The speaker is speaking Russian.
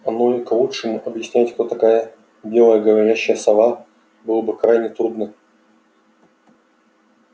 оно и к лучшему объяснять кто такая белая говорящая сова было бы крайне трудно